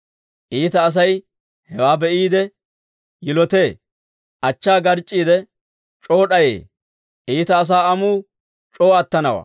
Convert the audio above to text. Iita Asay hewaa be'iide yilotee; achchaa garc'c'iide, c'oo d'ayee. Iita asaa amuu c'oo attanawaa.